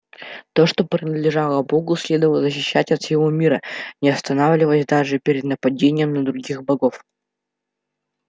то что принадлежало богу следовало защищать от всего мира не останавливаясь даже перед нападением на других богов